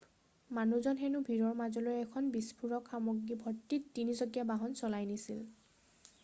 মানুহজনে হেনু ভিৰৰ মাজলৈ এখন বিস্ফোৰক সামগ্ৰী ভৰ্তি তিনি-চকীয়া বাহন চলাই নিছিল